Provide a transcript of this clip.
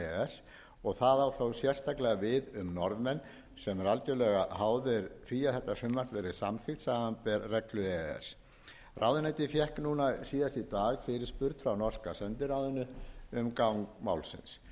s og það á þó sérstaklega við um norðmenn sem eru algjörlega háðir því að þetta frumvarp verði samþykkt samanber reglur e e s ráðuneytið fékk síðast í dag fyrirspurn frá norska sendiráðinu um gang málsins